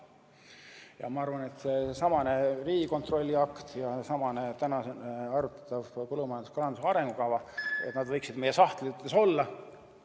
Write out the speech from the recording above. Ja ma arvan, et seesamane Riigikontrolli akt ja seesamane täna arutatav põllumajanduse ja kalanduse arengukava, et nad võiksid meie sahtlites olla ka ...